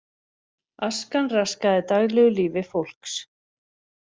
Askan raskaði daglegu lífi fólks